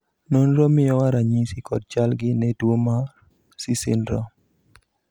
nonro miyowa ranyisi kod chal gi ne tuo mar C syndrome